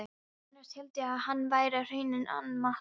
Annars hélt ég að hann væri á Hrauninu hann Matti.